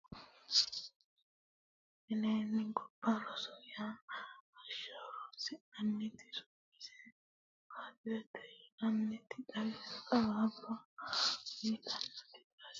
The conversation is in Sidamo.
minenna gobba roore yanna hashsha horonsi'nanniti su'mase baatirete yinanniti xawaabba uyiitannoti danase kolishsho noota anfanni iimaseno borro loosantinoti no .